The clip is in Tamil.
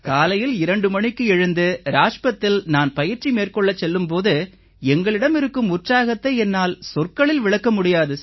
காலையில் 2 மணிக்கு எழுந்து ராஜ்பத்தில் நான் பயிற்சி மேற்கொள்ள செல்லும் போது எங்களிடம் இருக்கும் உற்சாகத்தை என்னால் சொற்களில் விளக்க முடியாது